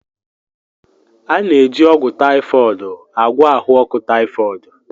A na-eji ọgwụ typhoid agwọ ahụ ọkụ typhoid.